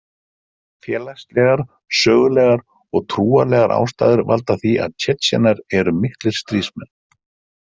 Félagslegar, sögulegar og trúarlegar ástæður valda því að Tsjetsjenar eru miklir stríðsmenn.